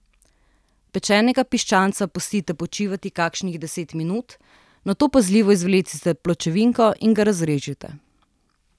Pečenega piščanca pustite počivati kakšnih deset minut, nato pazljivo izvlecite pločevinko in ga razrežite.